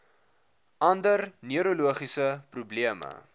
ander neurologiese probleme